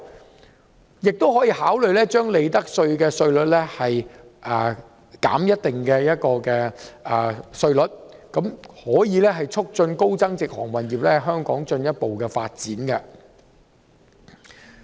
政府亦可考慮將利得稅減至某個稅率，以促進高增值航運業在香港的進一步發展。